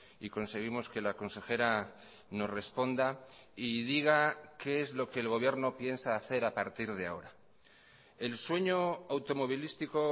y conseguimos que la consejera nos responda y diga qué es lo que el gobierno piensa hacer a partir de ahora el sueño automovilístico